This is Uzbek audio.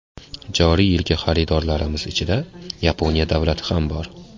Joriy yilgi xaridorlarimiz ichida Yaponiya davlati ham bor.